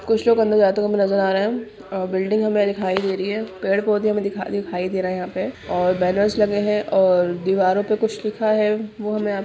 कुछ लोग अंदर जाते हुऐ हमे नजर आ रहे है बिल्डिंग हमे दिखाई दे रही है पेड़-पौधे हमे दिखाई दिखाई दे रहे है यहां पे और बैनर्स लगे है और दीवारों पे कुछ लिखा है वो हमे --